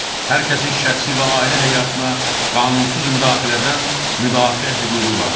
Hər kəsin şəxsi və ailə həyatına qanunsuz müdaxilədən müdafiə hüququ vardır.